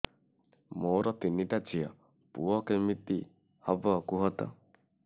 ମୋର ତିନିଟା ଝିଅ ପୁଅ କେମିତି ହବ କୁହତ